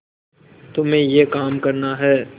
तुम्हें यह काम करना है